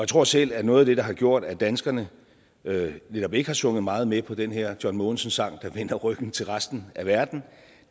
tror selv at noget af det der har gjort at danskerne netop ikke har sunget meget med på den her john mogensen sang der vender ryggen til resten af verden